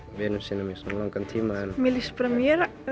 vinum sínum í svona langan tíma mér líst bara mjög